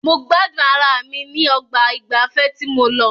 Mo gbádùn ara mi ní ọgbà ìgbafẹ́ tí mo lọ.